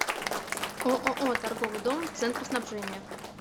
ооо торговый дом центр снабжения